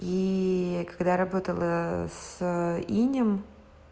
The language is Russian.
и когда работала с инем